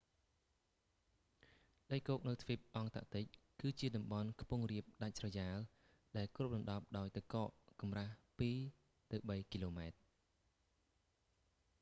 ដីគោកនៅទ្វីបអង់តាក់ទិក គឺជាតំបន់ខ្ពង់រាបដាច់ស្រយាល ដែលគ្របដណ្ដប់ដោយទឹកកកកម្រាស់ 2-3 គីឡូម៉ែត្រ